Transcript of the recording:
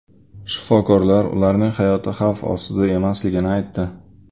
Shifokorlar ularning hayoti xavf ostida emasligini aytdi.